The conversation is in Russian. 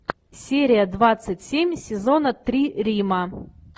серия двадцать семь сезона три рима